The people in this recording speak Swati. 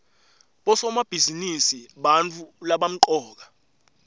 bosomabhizinisi bantfu labamcoka